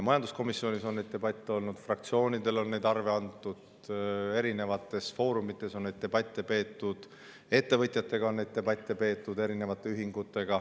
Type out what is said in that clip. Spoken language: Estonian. Majanduskomisjonis on neid debatte olnud, fraktsioonidele on neid arve antud, erinevates foorumites on neid debatte peetud, ka ettevõtjate ja erinevate ühingutega on debatte peetud.